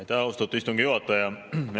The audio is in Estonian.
Aitäh, austatud istungi juhataja!